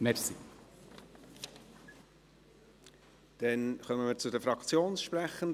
Wir kommen zu den Fraktionssprechenden.